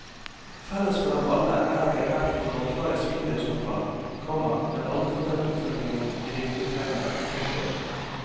Felles for dem alle er at de har vær på kortvarige svingdørsopphold, komma men aldri fått den oppfølgingen de virkelig trenger. punktum